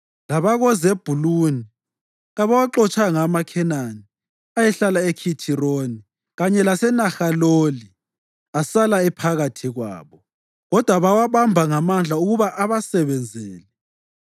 LabakoZebhuluni kabawaxotshanga amaKhenani ayehlala eKhithironi kanye laseNahaloli, asala ephakathi kwabo; kodwa bawabamba ngamandla ukuba abasebenzele.